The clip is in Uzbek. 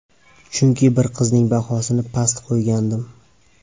Chunki bir qizning bahosini past qo‘ygandim.